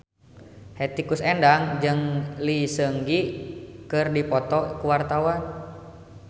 Hetty Koes Endang jeung Lee Seung Gi keur dipoto ku wartawan